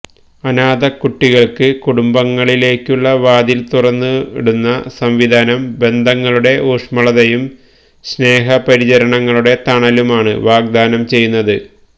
അനാഥകുട്ടികൾക്ക് കുടുംബങ്ങളിലേക്കുള്ള വാതിൽ തുറന്നിടുന്ന സംവിധാനം ബന്ധങ്ങളുടെ ഊഷ്മളതയും സ്നേഹപരിചരണങ്ങളുടെ തണലുമാണ് വാഗ്ദാനം ചെയ്യുന്നത്